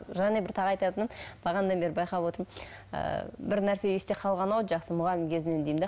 және бір тағы айтатыным бағанадан бері байқап отырмын ы бір нәрсе есте қалған ау жас мұғалім кезінен деймін де